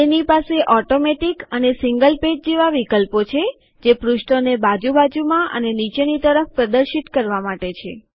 તેની પાસે ઓટોમેટીક અને સીન્ગલ પેજ જેવા વિકલ્પો છે જે પૃષ્ઠોને બાજુ બાજુમાં અને નીચેની તરફ પ્રદર્શિત કરવા માટે છે